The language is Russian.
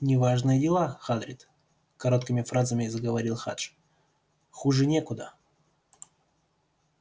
неважные дела хагрид короткими фразами заговорил хадж хуже некуда